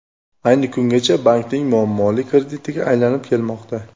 Ayni kungacha bankning muammoli kreditiga aylanib kelmoqda.